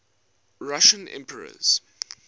russian emperors